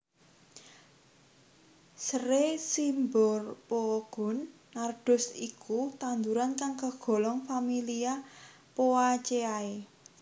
Seré Cymbopogon nardus iku tanduran kang kagolong familia Poaceae